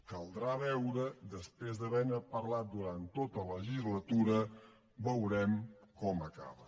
caldrà veure després d’haver ne parlat durant tota la legislatura veurem com acaba